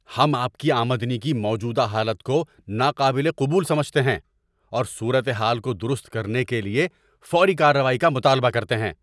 ہم آپ کی آمدنی کی موجودہ حالت کو ناقابل قبول سمجھتے ہیں اور صورت حال کو درست کرنے کے لیے فوری کارروائی کا مطالبہ کرتے ہیں۔